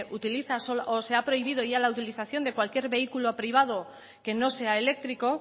utiliza o se ha prohibido ya la utilización de cualquier vehículo privado que no sea eléctrico